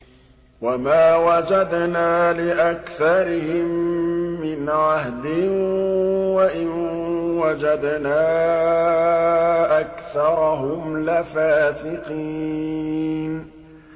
وَمَا وَجَدْنَا لِأَكْثَرِهِم مِّنْ عَهْدٍ ۖ وَإِن وَجَدْنَا أَكْثَرَهُمْ لَفَاسِقِينَ